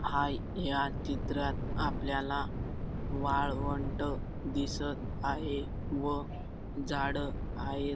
हाय या चित्रात आपल्याला वाळवंट दिसत आहे व झाडं हायेत.